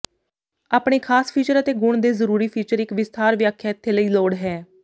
ਆਪਣੇ ਖਾਸ ਫੀਚਰ ਅਤੇ ਗੁਣ ਦੇ ਜ਼ਰੂਰੀ ਫੀਚਰ ਇੱਕ ਵਿਸਥਾਰ ਵਿਆਖਿਆ ਇਥੇ ਲਈ ਲੋੜ ਹੈ